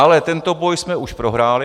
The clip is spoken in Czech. Ale tento boj jsme už prohráli.